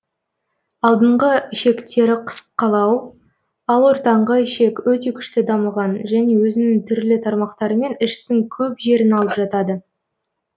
алдыңғы ішектері қысқалау ал ортаңғы ішек өте күшті дамыған және өзінің түрлі тармақтарымен іштің көп жерін алып жатады